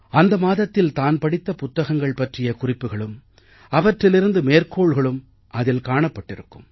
அந்த மாதத்தில் தான் படித்த புத்தகங்கள் பற்றிய குறிப்புகளும் அவற்றிலிருந்து மேற்கோள்களும் அதில் காணப்பட்டிருக்கும்